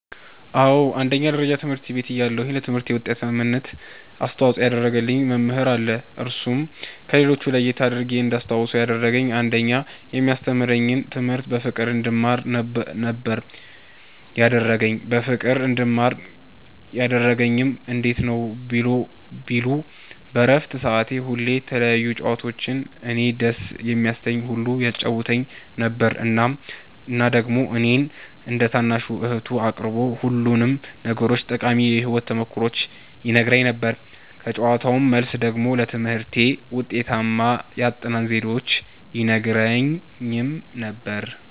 አዎ አንደኛ ደረጃ ትምህርት ቤት እያለሁ ለትምህርቴ ዉጤታማነት አስተዋፅኦ ያደረገ መምህር አለ እርሱም ከሌሎች ለየት አድርጌ እንዳስታዉሰዉ ያደረገኝ አንደኛ የሚያስተምረኝን ትምህርት በፍቅር እንድማር ነበረ ያደረገኝ በፍቅር እንድማር ያደረገኝም እንዴት ነዉ ቢሉ በረፍት ሰዓት ሁሌ የተለያዩ ጨዋታዎችን እኔን ደስ የሚያሰኘኝን ሁሉ ያጫዉተኝ ነበረ እና ደግሞ እኔን እንደ ታናሽ እህቱ አቅርቦ ሁሉንም ነገሮቹን ጠቃሚ የህይወት ተሞክሮዎቹን ይነግረኝ ነበረ ከጨዋታዉ መልስ ደግሞ ለትምህርቴ ውጤታማ የአጠናን ዘዴዎችን ይነግረኝም ነበረ።